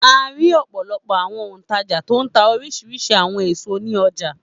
A rí ọ̀pọ̀lọpọ̀ àwọn òǹtajà tó ń ta oríṣiríṣi àwọn èso ní ọjà.